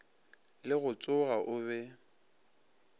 le go tsoga o be